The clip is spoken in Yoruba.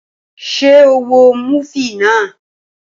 Ṣé o wo múfì náà?